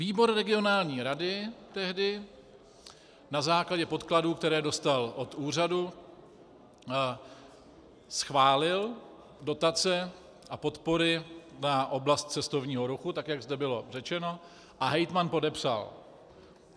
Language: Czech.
Výbor regionální rady tehdy na základě podkladů, které dostal od úřadu, schválil dotace a podpory na oblast cestovního ruchu, tak jak zde bylo řečeno, a hejtman podepsal.